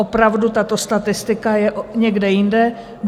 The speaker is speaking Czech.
Opravdu, tato statistika je někde jinde.